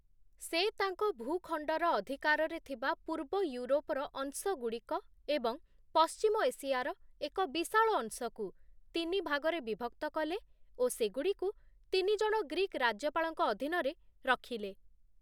ସେ ତାଙ୍କ ଭୂଖଣ୍ଡର ଅଧିକାରରେ ଥିବା ପୂର୍ବଇଉରୋପର ଅଂଶଗୁଡ଼ିକ ଓ ପଶ୍ଚିମ ଏସିଆର ଏକ ବିଶାଳ ଅଂଶକୁ ତିନିଭାଗରେ ବିଭକ୍ତ କଲେ ଓ ସେଗୁଡ଼ିକୁ ତିନିଜଣ ଗ୍ରୀକ୍ ରାଜ୍ୟପାଳଙ୍କ ଅଧୀନରେ ରଖିଲେ ।